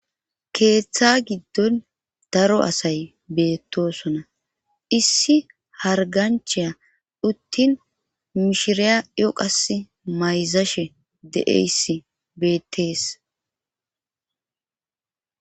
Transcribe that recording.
Keeththa giddon daro asay beettosona issi harganchiya uttin mishiriya yoqas mayzashe deeys bettees